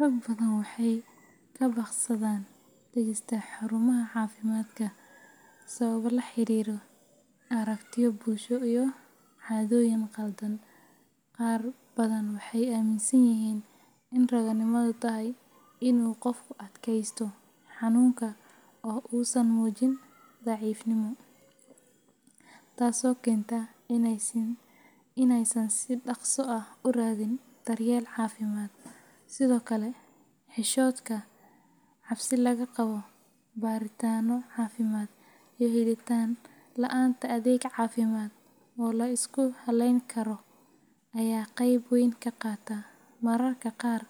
Rag badan waxay ka baaqsadaan tagista xarumaha caafimaadka sababo la xiriira aragtiyo bulsho iyo caadooyin qaldan. Qaar badan waxay aaminsan yihiin in raganimadu tahay in uu qofku adkaysto xanuunka oo uusan muujin daciifnimo, taasoo keenta in aysan si dhaqso ah u raadin daryeel caafimaad. Sidoo kale, xishoodka, cabsi laga qabo baaritaanno caafimaad, iyo helitaan la’aanta adeeg caafimaad oo la isku halayn karo ayaa qayb weyn ka qaata. Mararka qaar,